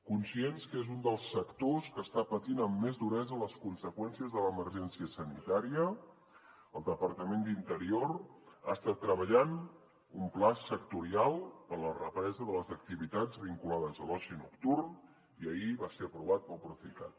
conscients que és un dels sectors que està patint amb més duresa les conseqüències de l’emergència sanitària el departament d’interior ha estat treballant un pla sectorial per a la represa de les activitats vinculades a l’oci nocturn i ahir va ser aprovat pel procicat